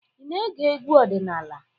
Ị na-ege egwu ọdịnala.